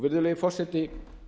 virðulegi forseti